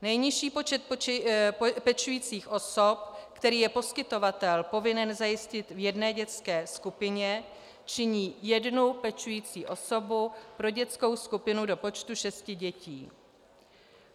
Nejnižší počet pečujících osob, který je poskytovatel povinen zajistit v jedné dětské skupině, činí jednu pečující osobu pro dětskou skupinu do počtu šesti dětí.